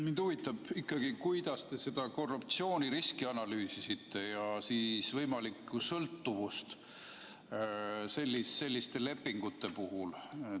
Mind huvitab ikkagi, kuidas te analüüsisite seda korruptsiooniriski ja võimalikku sõltuvust selliste lepingute puhul.